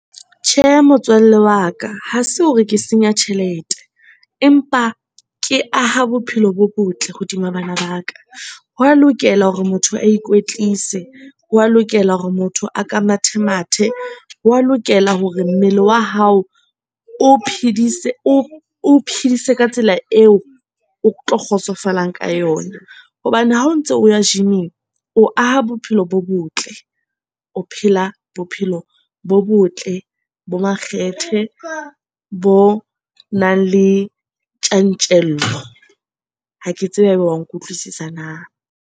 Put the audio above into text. Tjhe, motswalle wa ka ha se hore ke senya tjhelete, empa ke aha bophelo bo botle hodima bana ba ka. Ho wa lokela hore motho a ikwetlise ho wa lokela hore motho a ka mathe mathe. Ho wa lokela hore mmele wa hao o phidise, o phidise ka tsela eo o tlo kgotsofalang ka yona hobane ha o ntso o ya gym-ing. O aha bophelo bo botle o phela la bophelo bo botle bo makgethe bo nang le tjantjello ha ke tsebe ha ebe wa nkutlwisisa na?